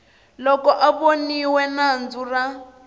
loko a voniwe nandzu ra